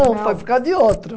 Não, foi por causa de outro.